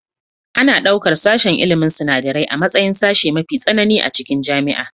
Ana ɗaukar sashen ilmin sinadarai a matsayin sashe mafi tsanani a cikin jami'a